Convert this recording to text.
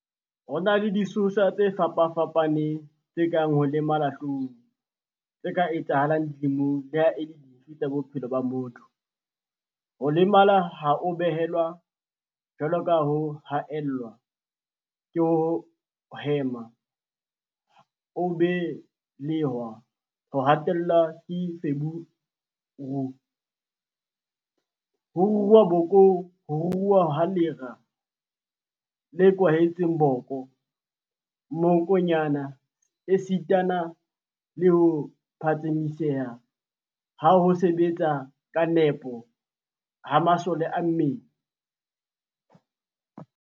Ho na le disosa tse fapa-fapaneng tse kang ho lemala hloohong tse ka etsahalang dilemong leha e le dife tsa bophelo ba motho, ho lemala ha o belehwa, jwalo ka ho haellwa ke ho hema ha o be-lehwa, ho hatellwa ke feberu, ho ruruha bokong, ho ruruha ha lera le kwahetseng boko, mmokonyane esitana le ho phatsamiseha ha ho sebetsa ka nepo ha masole a mmele.